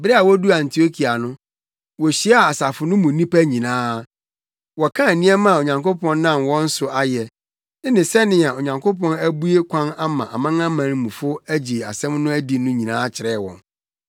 Bere a woduu Antiokia no, wohyiaa asafo no mu nnipa nyinaa. Wɔkaa nneɛma a Onyankopɔn nam wɔn so ayɛ, ne sɛnea Onyankopɔn abue kwan ama amanamanmufo agye asɛm no adi no nyinaa kyerɛɛ wɔn.